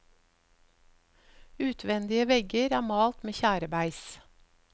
Utvendige vegger er malt med tjærebeis.